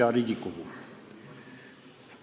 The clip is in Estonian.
Hea Riigikogu!